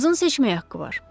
Qızın seçməyə haqqı var.